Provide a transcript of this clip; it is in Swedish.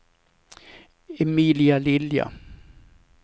Emilia Lilja